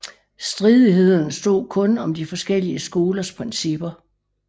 Stridighederne stod kun om de forskellige skolers principper